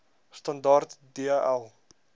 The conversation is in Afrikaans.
standaard d l